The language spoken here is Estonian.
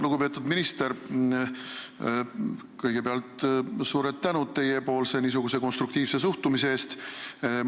Lugupeetud minister, kõigepealt suur tänu teile konstruktiivse suhtumise eest!